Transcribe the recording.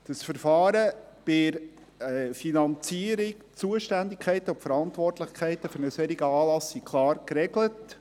Das Verfahren bei der Finanzierung, die Zuständigkeiten und Verantwortlichkeiten für einen solchen Anlass sind klar geregelt.